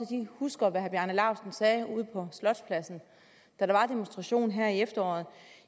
de husker hvad herre bjarne laustsen sagde ude på slotspladsen da der var demonstration her i efteråret